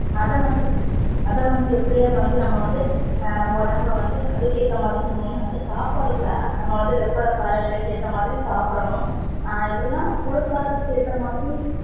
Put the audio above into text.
அத வந்து அத வந்து எப்படியாவது வந்து நம்ப வந்து நம்ப உடம்ப வந்து அதுக்கு ஏத்தா மாதிரி நம்ப வந்து சாப்பாட கூட அந்த வெப்ப காலநிலைக்கு ஏத்த மாதிரி சாப்டனும் ஹம் எப்படினா குளிர் காலத்துக்கு ஏத்தா மாதிரி